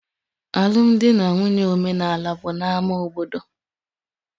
Alụmdi na nwunye omenaala bụ na ámá obodo